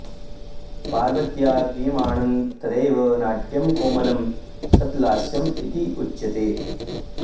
पार्वत्या क्रियमाणं तदेव नाट्यं कोमलं सत् लास्यम् इति उच्यते